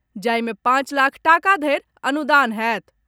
जाहि मे पांच लाख टाका धरि अनुदान होयत।